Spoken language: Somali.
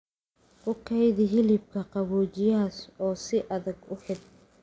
Ku kaydi hilibka qaboojiyaha oo si adag u xidh.